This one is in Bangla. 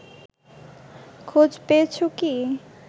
খোঁজ পেয়েছ কি